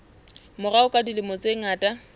morao ka dilemo tse ngata